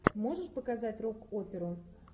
можешь показать рок оперу